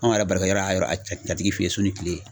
Anw yɛrɛ barokɛyɔrɔ y'a yɛrɛ yɛrɛ jatigi fe yen su ni kile